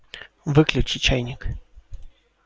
выключи чайник